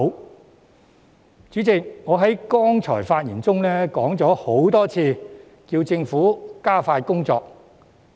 代理主席，我剛才發言時多次要求政府加快工作。